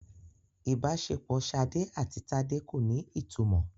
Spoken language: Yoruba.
Ìbáṣepọ̀ Ṣadé àti Tádé kò ní ìtumọ̀.